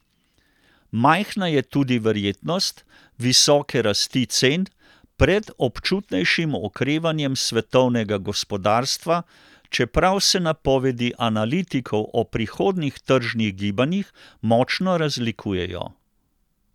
Majhna je tudi verjetnost visoke rasti cen pred občutnejšim okrevanjem svetovnega gospodarstva, čeprav se napovedi analitikov o prihodnjih tržnih gibanjih močno razlikujejo.